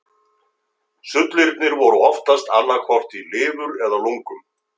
Sullirnir voru oftast annað hvort í lifur eða lungum.